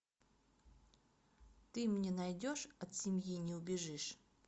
ты мне найдешь от семьи не убежишь